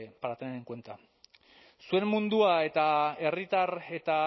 para tener en cuenta zuen mundua eta herritar eta